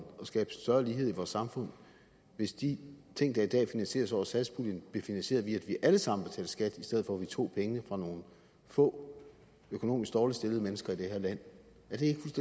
og skabe større lighed i vores samfund hvis de ting der i dag finansieres over satspuljen blev finansieret via at vi alle sammen betalte skat i stedet for at vi tog pengene fra nogle få økonomisk dårligt stillede mennesker i det her land er det ikke